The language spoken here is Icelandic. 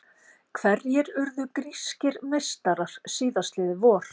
Hverjir urðu grískir meistarar síðastliðið vor?